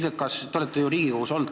Te olete ju Riigikogus olnud.